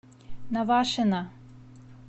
навашино